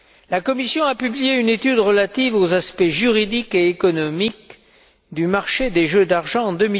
La Commission a publié une étude relative aux aspects juridiques et économiques du marché des jeux d'argent en